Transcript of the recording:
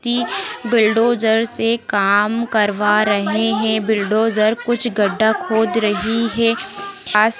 bulldozer से काम करवा रहे हैं बिलडोजेर कुछ गड्डा खोद रही है खास --